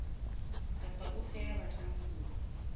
kapa ofe ya batlang ho